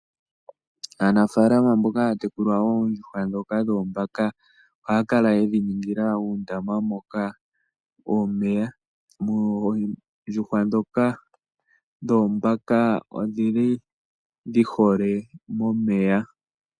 Aanafalama mboka haya tekula oondjuhwa ndhoka dhoombaka ohaya kala yedhi ningila uundama moka muna omeya ,oondjuhwa dhoombaka odhili dhi hole momeya.